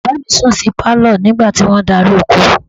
Bàbá mi sùn sí pálọ̀ nígbà tí wọ́n darí oko